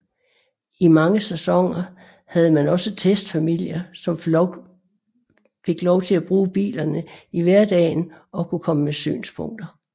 I mange sæsoner havde man også testfamilier som fik lov at bruge bilerne i hverdagen og kunne komme med synspunkter